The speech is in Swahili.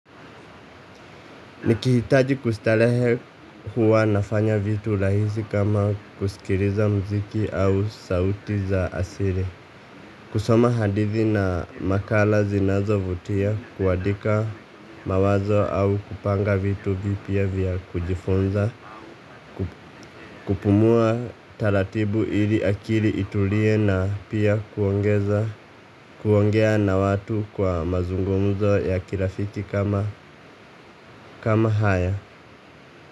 Nikihitaji kustarehe huwa nafanya vitu rahisi kama kusikiliza muziki au sauti za asili. Kusoma hadithi na makala zinazovutia, kuandika mawazo au kupanga vitu vipya vya kujifunza, kupumua taratibu ili akili itulie na pia kuongea na watu kwa mazungumzo ya kirafiki kama haya.